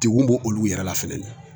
Degun b'o olu yɛrɛ la fɛnɛ